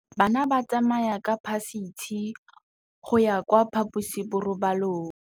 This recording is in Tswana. Bana ba tsamaya ka phašitshe go ya kwa phaposiborobalong.